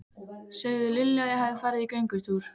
Segðu Lilju að ég hafi farið í göngutúr.